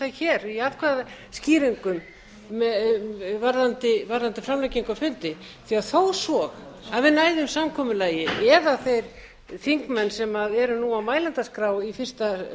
að ræða um það hér í atkvæðaskýringum varðandi framlengingu á fundi því þó svo að við næðum samkomulagi eða þeir þingmenn sem eru nú á mælendaskrá í